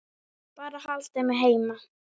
Bara haldið mig heima!